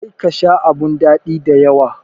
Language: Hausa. Kar ka Sha abun dadi da yawa.